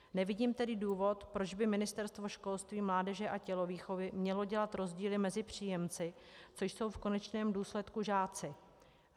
Nevidím tedy důvod, proč by Ministerstvo školství, mládeže a tělovýchovy mělo dělat rozdíly mezi příjemci, což jsou v konečném důsledku žáci.